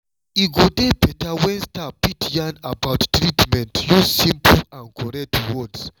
e go dey beta wen staff fit yarn about treatment use simple and correct words.